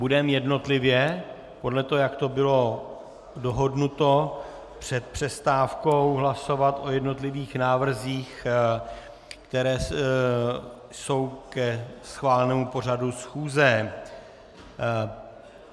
Budeme jednotlivě, podle toho, jak to bylo dohodnuto před přestávkou, hlasovat o jednotlivých návrzích, které jsou ke schválenému pořadu schůze.